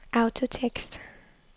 autotekst